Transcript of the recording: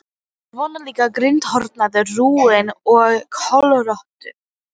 Svona líka grindhoraður, rúinn og kollóttur.